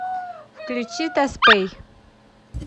включи таспэй